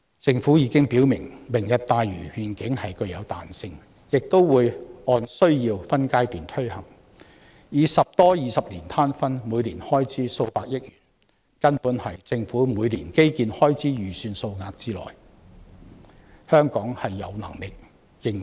政府已經表明"明日大嶼願景"具有彈性，而且會按需要分階段推行，以十多二十年攤分，每年開支為數百億元，根本是政府每年基建開支預算之內，香港有能力應付。